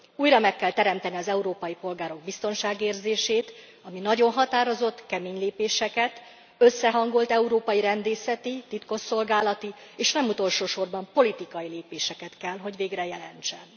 Újra meg kell teremteni az európai polgárok biztonságérzését, ami nagyon határozott, kemény lépéseket, összehangolt európai rendészeti, titkosszolgálati és nem utolsósorban politikai lépéseket kell, hogy végre jelentsen.